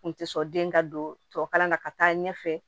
N kun tɛ sɔn den ka don tubabu kalan na ka taa ɲɛfɛ